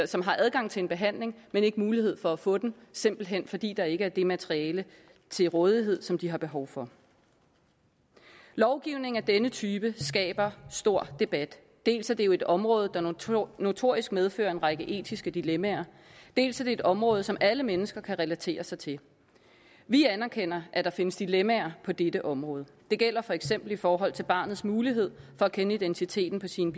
som har adgang til en behandling men ikke mulighed for at få den simpelt hen fordi der ikke er det materiale til rådighed som de har behov for lovgivning af denne type skaber stor debat dels er det jo et område der notorisk notorisk medfører en række etiske dilemmaer dels er det et område som alle mennesker kan relatere sig til vi anerkender at der findes dilemmaer på dette område det gælder for eksempel i forhold til barnets mulighed for at kende identiteten på sine